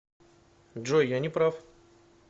джой я не прав